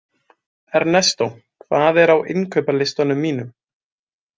Ernestó, hvað er á innkaupalistanum mínum?